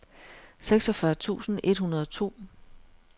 seksogfyrre tusind et hundrede og to